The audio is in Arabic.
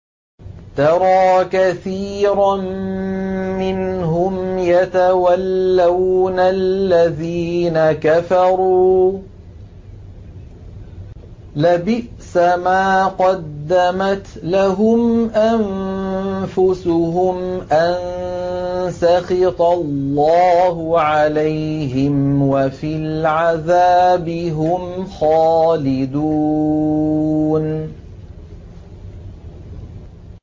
تَرَىٰ كَثِيرًا مِّنْهُمْ يَتَوَلَّوْنَ الَّذِينَ كَفَرُوا ۚ لَبِئْسَ مَا قَدَّمَتْ لَهُمْ أَنفُسُهُمْ أَن سَخِطَ اللَّهُ عَلَيْهِمْ وَفِي الْعَذَابِ هُمْ خَالِدُونَ